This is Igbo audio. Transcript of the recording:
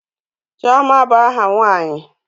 Chioma bụ aha nwanyi.